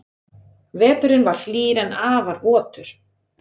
Veturinn var hlýr en afar votur